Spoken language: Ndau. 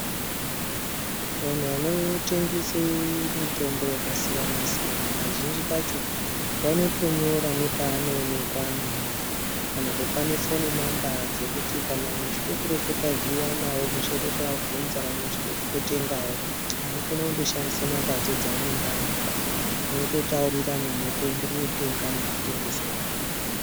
Anhu anotengese mitombo yakasiyanasiyana kazhinji kacho vanotonyora nepaonekwa hai, kana kupa nefoni namba dzekuti kana mwechide kureketa nawo, mwechide kuabvunza kana mwechide kutengawo munokone kundoshandise numbadzo dzaanenge amupa mwototaurirana mwoteende kotenga nekutengeserana.